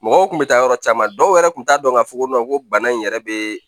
Mɔgɔw kun bɛ taa yɔrɔ caman dɔw yɛrɛ tun t'a dɔn k'a fɔ ko ko bana in yɛrɛ be